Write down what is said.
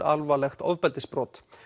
alvarlegt ofbeldisbrot